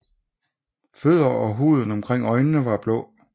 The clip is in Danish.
Fødder og huden omkring øjnene er blå